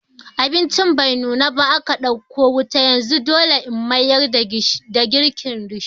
Abincin bai nuna ba aka ɗauke wuta yanzu dole In mayar da girkin risho.